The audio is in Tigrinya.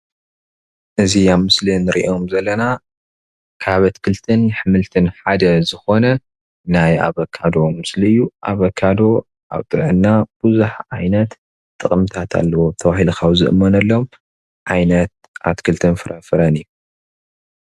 እዚ ኣብ ምስሊ እንሪኦም ዘለና ካብ ኣትክልትን ኣሕምልትን ሓደ ዝኮነ ናይ ኣበካዶ ምስሊ እዩ፡፡ ኣበካዶ ኣብ ጥዕና ቡዙሕ ዓይነት ጥቅምታት ኣለዎ ተባሂሉ ካብ ዝእመነሎም ዓይነት ኣትክልትን ፍራ ፍረን እዩ፡፡